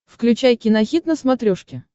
включай кинохит на смотрешке